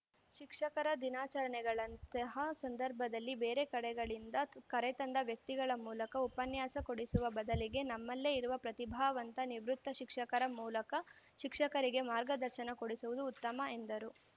ಶಿಕ್ಷಕರ ದಿನಾಚರಣೆಗಳಂತಹ ಸಂದರ್ಭದಲ್ಲಿ ಬೇರೆ ಕಡೆಗಳಿಂದ ಕರೆತಂದ ವ್ಯಕ್ತಿಗಳ ಮೂಲಕ ಉಪನ್ಯಾಸ ಕೊಡಿಸುವ ಬದಲಿಗೆ ನಮ್ಮಲ್ಲೇ ಇರುವ ಪ್ರತಿಭಾವಂತ ನಿವೃತ್ತ ಶಿಕ್ಷಕರ ಮೂಲಕ ಶಿಕ್ಷಕರಿಗೆ ಮಾರ್ಗದರ್ಶನ ಕೊಡಿಸುವುದು ಉತ್ತಮ ಎಂದರು